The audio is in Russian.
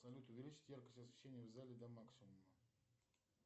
салют увеличить яркость освещения в зале до максимума